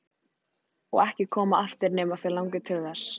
Og ekki koma aftur nema þig langi til þess.